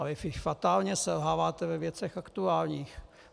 Ale vy fatálně selháváte ve věcech aktuálních.